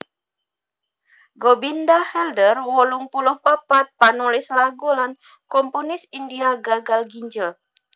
Gobinda Halder wolung puluh papat panulis lagu lan komponis India gagal ginjel